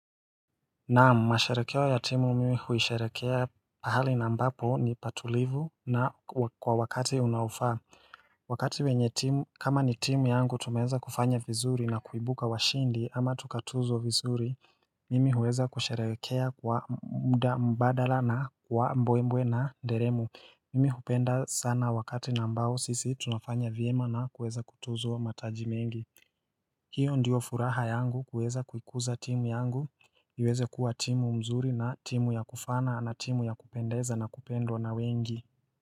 Naam, masharekeo ya timu mimi huisharekea pahali na ambapo ni patulivu na kwa wakati unaofaa Wakati wenye timu kama ni timu yangu tumeeza kufanya vizuri na kuibuka washindi ama tukatuzwa vizuri Mimi huweza kusharekea kwa muda mbadala na kwa mbwembwe na nderemo. Mimi hupenda sana wakati na ambao sisi tunafanya vyema na kuweza kutuzwa mataji mengi hiyo ndiyo furaha yangu kuweza kuikuza timu yangu iweze kuwa timu mzuri na timu ya kufaana na timu ya kupendeza na kupendwa na wengi.